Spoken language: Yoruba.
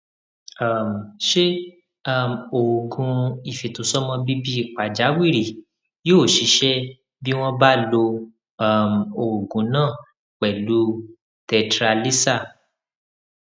um ṣé um oògùn ìfètòsọmọbíbí pàjáwìrì yóò ṣiṣẹ bí wọn bá lo um oògùn náà pẹlú tetralysal